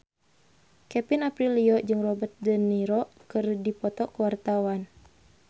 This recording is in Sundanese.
Kevin Aprilio jeung Robert de Niro keur dipoto ku wartawan